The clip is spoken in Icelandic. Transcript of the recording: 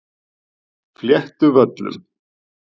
Fléttuvöllum